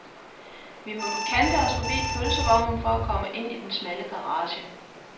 Vi må kante os forbi pølsevognen for at komme ind i den smalle garage.